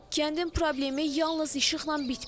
Kəndin problemi yalnız işıqla bitmir.